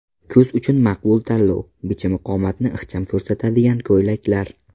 Kuz uchun maqbul tanlov: Bichimi qomatni ixcham ko‘rsatadigan ko‘ylaklar .